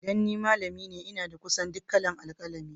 Dan ni malami ce, n'na da kusan duk kala'n alkalami.